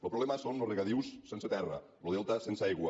el problema són els regadius sense terra el delta sense aigua